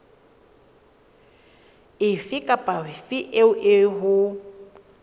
efe kapa efe eo ho